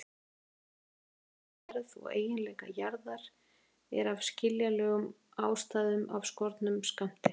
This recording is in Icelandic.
Vitneskja um innri gerð og eiginleika jarðar er af skiljanlegum ástæðum af skornum skammti.